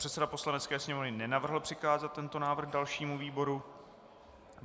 Předseda Poslanecké sněmovny nenavrhl přikázat tento návrh dalšímu výboru.